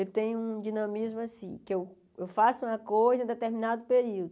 Eu tenho um dinamismo assim, que eu eu faço uma coisa em determinado período.